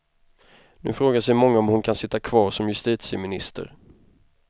Nu frågar sig många om hon kan sitta kvar som justitieminister.